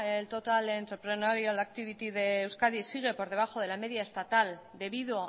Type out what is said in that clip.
el total entrepreneurial activity de euskadi sigue por debajo de la media estatal debido